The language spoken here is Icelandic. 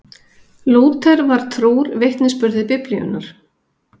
Lúther var trúr vitnisburði Biblíunnar.